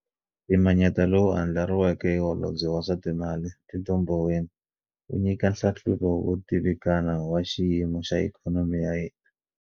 Mpimanyeto lowu andlariweke hi Holobye wa swa Timali, Tito Mboweni wu nyika nhlahluvo wo tivikana wa xiyi mo xa ikhonomi ya hina.